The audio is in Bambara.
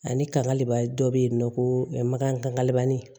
Ani kangale dɔ bɛ yen nɔ ko makangalani